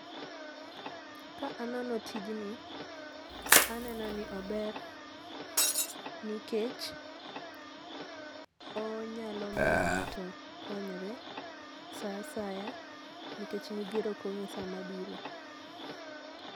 Ka anono tijni aneno ni ober nikech onyalo miyo ng'ato konyore saa asaya nikech midhiero ok ong'e sama bire.